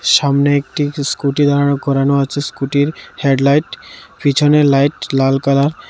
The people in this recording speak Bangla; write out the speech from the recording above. সামনে একটি স্কুটি দাঁড় করানো আছে স্কুটির হেড লাইট পিছনে লাইট লাল কালার ।